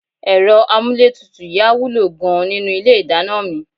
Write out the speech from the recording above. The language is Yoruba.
Ẹ̀rọ amúlétutù yìí á wúlò gan-an nínú ilé ìdáná mi